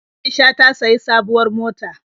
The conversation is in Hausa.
Aisha ta sayi sabuwar mota.